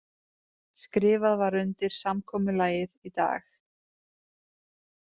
Skrifað var undir samkomulagið í dag